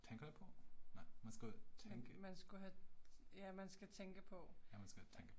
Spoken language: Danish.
Man man skulle have, ja man skal tænke på, ja